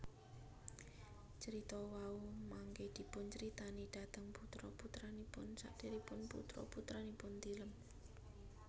Carita wau mangké dipuncritani dhateng putra putranipun sadèrèngipun putra putranipun tilem